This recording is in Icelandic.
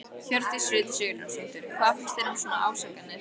Hjördís Rut Sigurjónsdóttir: Hvað finnst þér um svona ásakanir?